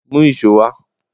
Mú íṣo wá!